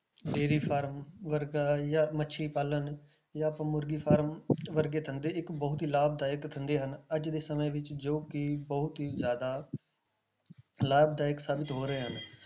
Dairy farm ਵਰਗਾ ਜਾਂ ਮੱਛੀ ਪਾਲਣ ਜਾਂ ਫਿਰ ਮੁਰਗੀ farm ਵਰਗੇ ਧੰਦੇ ਇੱਕ ਬਹੁਤ ਹੀ ਲਾਭਦਾਇਕ ਧੰਦੇ ਹਨ ਅੱਜ ਦੇ ਸਮੇਂ ਵਿੱਚ ਜੋ ਕਿ ਬਹੁਤ ਹੀ ਜ਼ਿਆਦਾ ਲਾਭਦਾਇਕ ਸਾਬਿਤ ਹੋ ਰਹੇ ਹਨ